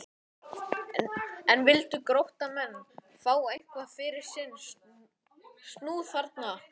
En vildu Gróttumenn fá eitthvað fyrir sinn snúð þarna?